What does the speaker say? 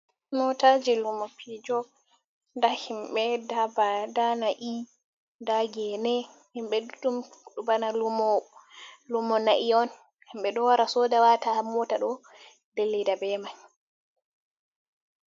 Motaji lumo pijo nda himɓe ndaa nai nda gene himɓe ɗuɗɗum bana lumo naiyi on himɓe ɗo wara soda wata ha mota ɗo ɓe dillida be man.